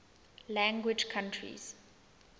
language countries